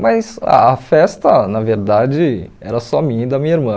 Mas a festa, na verdade, era só minha e da minha irmã.